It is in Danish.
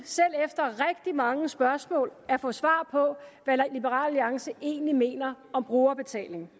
selv mange spørgsmål at få svar på hvad liberal alliance egentlig mener om brugerbetaling